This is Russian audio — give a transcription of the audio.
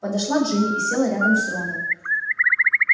подошла джинни и села рядом с роном